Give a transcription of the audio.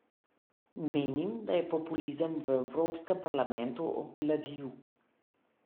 Menim, da je populizem v evropskem parlamentu obvladljiv.